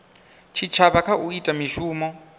tshitshavha kha u ita mishumo